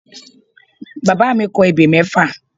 Bàbá mi kọ ebè mẹ́fà